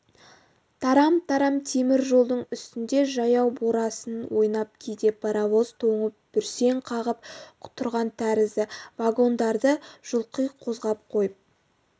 тарам-тарам темір жолдың үстінде жаяу борасын ойнап кейде паровоз тоңып бүрсең қағып тұрған тәрізді вагондарды жұлқи қозғап қойып